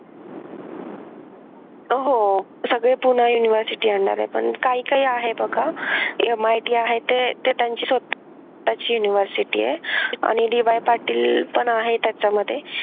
अह हो सगळे पुणा university आणणार आहेत पण काय काय आहे बघा MIT आहे ते त्यांचं स्वतःची university आहे आणि DY पाटील पण आहे त्याच्यामध्ये